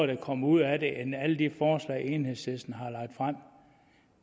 der kommer ud af det end alle de forslag enhedslisten har lagt frem